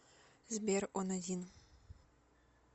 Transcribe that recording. сбер он один